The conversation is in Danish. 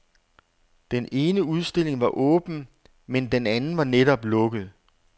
Den ene udstilling var åben, men den anden var netop lukket.